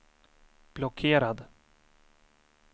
blockerad